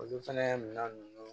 Olu fɛnɛ minan nunnu